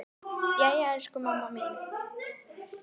Jæja, elsku mamma mín.